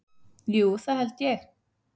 Jú það held ég.